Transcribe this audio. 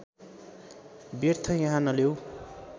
व्यर्थ यहाँ नलेउ